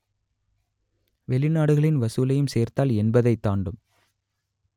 வெளிநாடுகளின் வசூலையும் சேர்த்தால் எண்பதை தாண்டும்